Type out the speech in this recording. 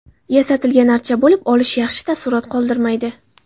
Yasatilgan archa bo‘lib olish yaxshi taassurot qoldirmaydi.